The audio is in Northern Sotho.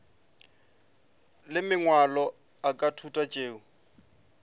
le mangwalo a thuto tšeo